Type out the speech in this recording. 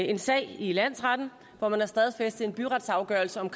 en sag i landsretten hvor man har stadfæstet en byretsafgørelse om